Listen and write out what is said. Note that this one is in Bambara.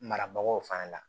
Marabagaw fana la